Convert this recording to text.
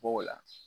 B'o la